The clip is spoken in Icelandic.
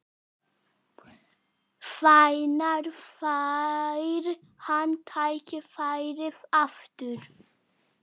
Hvenær fær hann tækifærið aftur?